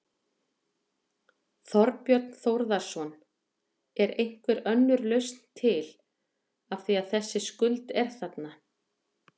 Þorbjörn Þórðarson: Er einhver önnur lausn til, af því að þessi skuld er þarna?